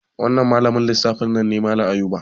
Wannan malamin lissafi nan ne malan Ayuba